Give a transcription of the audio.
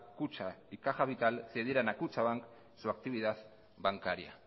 kutxa y caja vital cedieran a kutxabank su actividad bancaria